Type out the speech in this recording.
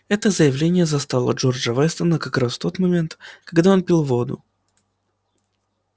это заявление застало джорджа вестона как раз в тот момент когда он пил воду